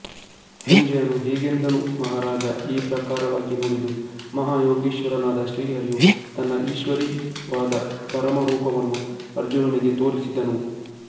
ಸಂಜಯನು ಹೀಗೆಂದನು ಮಾಹಾರಾಜ ಈ ಪ್ರಕಾರವಾಗಿ ನುಡಿದು ಮಹಾಯೋಗೇಶ್ವರನಾದ ಶ್ರೀಹರಿಯು ತನ್ನ ಈಶ್ವರೀಯವಾದ ಪರಮರೂಪವನ್ನು ಅರ್ಜುನನಿಗೆ ತೋರಿಸಿದನು